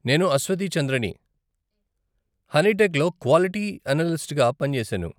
నేను అశ్వతి చంద్రని, హనీటెక్లో క్వాలిటీ అనలిస్ట్గా పనిచేశాను.